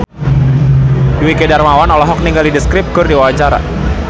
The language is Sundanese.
Dwiki Darmawan olohok ningali The Script keur diwawancara